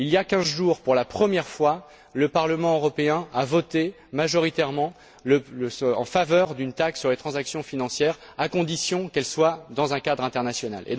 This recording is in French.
Il y a quinze jours, pour la première fois, le Parlement européen a voté majoritairement en faveur d'une taxe sur les transactions financières, à condition qu'elles s'inscrivent dans un cadre international.